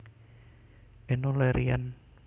Enno Lerian